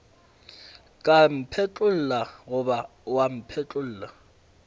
ka mphetlolla goba wa mpetolla